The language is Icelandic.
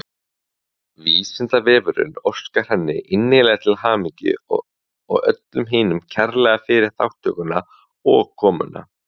Vísindavefurinn óskar henni innilega til hamingju og öllum hinum kærlega fyrir þátttökuna og komuna.